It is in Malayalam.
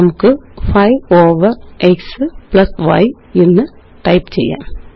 നമുക്ക് 5 ഓവർ x y എന്ന് ടൈപ്പ് ചെയ്യാം